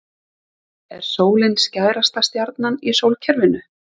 Er sólin stærsta stjarnan í sólkerfinu?